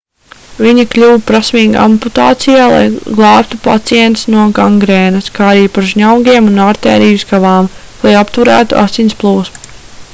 viņi kļuva prasmīgi amputācijā lai glābtu pacientus no gangrēnas kā arī par žņaugiem un artēriju skavām lai apturētu asins plūsmu